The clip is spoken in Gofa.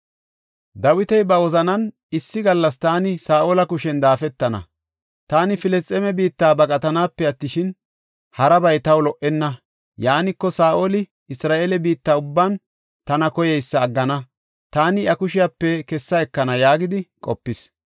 Dawiti ba wozanan, “Issi gallas taani Saa7ola kushen daafatana; taani Filisxeeme biitta baqatanaape attishin, harabay taw lo77enna. Yaaniko, Saa7oli Isra7eele biitta ubban tana koyeysa aggana; taani iya kushepe kessa ekana” yaagidi qopis.